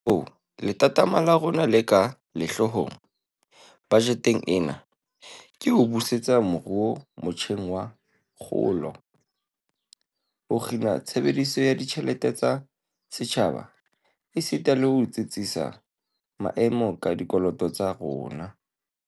Kahoo, lethathama la rona le ka sehloohong bajeteng ena ke ho busetsa moruo motjheng wa kgolo, ho kgina tshebediso ya ditjhelete tsa setjhaba esita le ho tsitsisa maemo a dikoloto tsa rona.